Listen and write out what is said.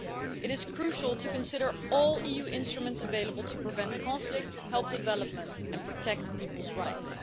It is crucial to consider all EU instruments available to prevent conflict, help development and protect people's rights.